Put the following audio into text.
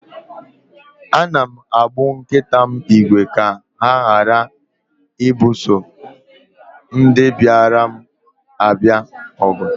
Ana m agbụ nkita m ígwè ka ha ghara ibuso ndị bịara abịa ọgụ